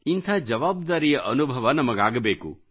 ಇಂಥ ಜವಾಬ್ದಾರಿಯ ಅನುಭವ ನಮಗಾಗಬೇಕು